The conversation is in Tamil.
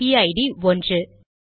இதன் பிஐடிPID 1